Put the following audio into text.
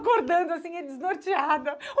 Acordando assim, desnorteada.